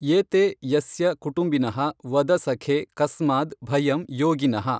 ಏತೇ ಯಸ್ಯ ಕುಟುಂಬಿನಃ ವದ ಸಖೇ ಕಸ್ಮಾದ್ ಭಯಂ ಯೋಗಿನಃ!